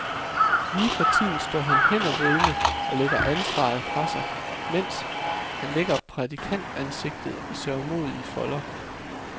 Lige for tiden står han hændervridende og lægger ansvaret fra sig, mens han lægger prædikantansigtet i sørgmodige folder.